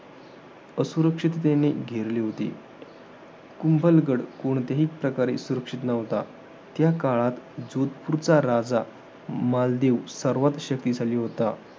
असुरक्षिततेने घेरले होते. कुंभलगड कोणत्याही प्रकारे सुरक्षित नव्हता. त्या काळात जोधपुरचा राजा, मालदेव सर्वात शक्तिशाली होता.